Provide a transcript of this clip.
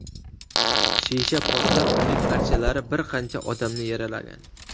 Shisha portlab, uning parchalari bir qancha odamni yaralagan.